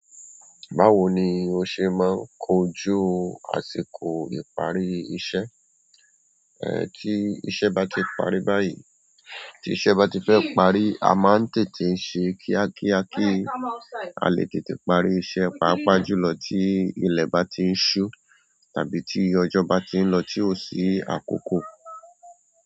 Báwo ni o ṣe máa ń kojú àsìkò ìparí iṣẹ́? Ẹ́, tí iṣẹ́ bá ti parí báyìí, tí iṣẹ́ bá ti fẹ́ parí, a máa ń tètè ṣe kíákíá kí a lè tètè parí iṣẹ́, pàápàá jùlọ tí ilẹ̀ bá ti ń ṣú tàbí tí ọjọ́ bá ti ń lọ tí ò sí àkókò.